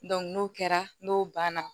n'o kɛra n'o banna